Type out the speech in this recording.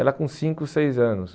Ela com cinco, seis anos.